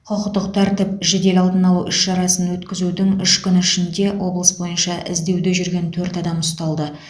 құқықтық тәртіп жедел алдын алу іс шарасын өткізудің үш күні ішінде облыс бойынша іздеуде жүрген төрт адам ұсталды